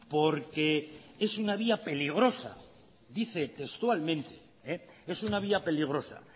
porque es una vía peligrosa dice textualmente es una vía peligrosa